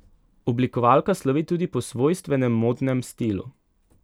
Oblikovalka slovi tudi po svojstvenem modnem stilu.